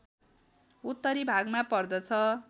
उत्तरी भागमा पर्दछ